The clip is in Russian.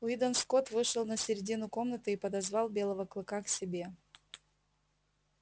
уидон скотт вышел на середину комнаты и подозвал белого клыка к себе